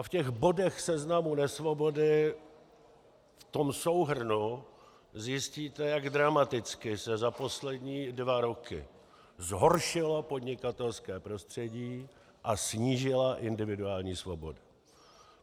A v těch bodech Seznamu nesvobody, v tom souhrnu zjistíte, jak dramaticky se za poslední dva roky zhoršilo podnikatelské prostředí a snížila individuální svoboda.